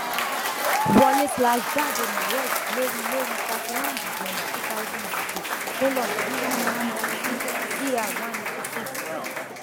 wọlé slash jáde naresh lórí lórí thirty one december two thousand and six colon dr one eighty six cr one eighty six